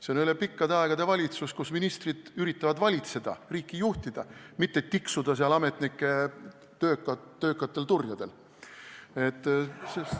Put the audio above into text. See on üle pikkade aegade valitsus, kus ministrid üritavad valitseda, riiki juhtida, mitte tiksuda ametnike töökatel turjadel.